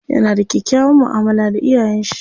Yana da kyakkyawan mu'amala da iyayen shi.